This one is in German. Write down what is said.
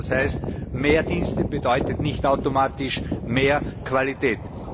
das heißt, mehr Dienste bedeutet nicht automatisch mehr Qualität.